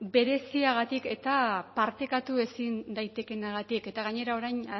bereziagatik eta partekatu ezin daitekeenagatik eta gainera orain